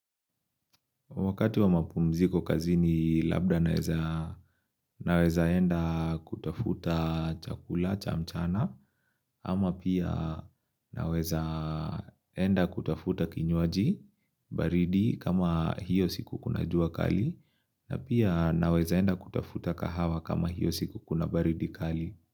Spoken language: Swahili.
Wakati wa mapumziko kazi ni labda naeza naweza enda kutafuta chakula cha mchana ama pia naweza enda kutafuta kinywaji baridi kama hiyo siku kuna jua kali na pia naweza enda kutafuta kahawa kama hiyo siku kuna baridi kali.